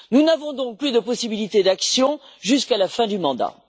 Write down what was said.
Nous n'avons donc plus de possibilité d'action jusqu'à la fin du mandat.